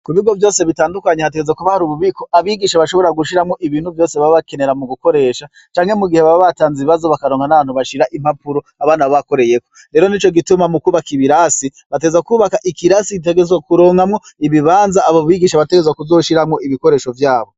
Mubigo vyose bitandukanye hategerezwa kuba hari ububiko abigisha bashobora gushiramwo ibintu vyose baba bakenera mugukoresha canke mugihe baba batanze ibibazo bakaronka nahantu bashira impapuro abana baba bakoreyeko rero nico gituma mukubaka ibirasi bategerezwa kubaka ikirasi gitegerezwa kuronkamwo ibibanza abo bigisha bategerezwa kuzoshiramwo ibikoresho vyabo.